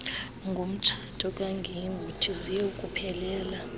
ngomtshato kaguguiethu ziyokuphelela